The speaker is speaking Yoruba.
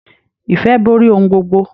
Ìfẹ́ borí ohun gbogbo.